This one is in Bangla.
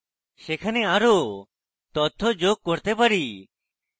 সেখানে আরও তথ্য যোগ করতে পারি